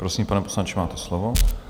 Prosím, pane poslanče, máte slovo.